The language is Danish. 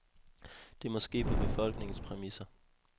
Det må ske på befolkningens præmisser.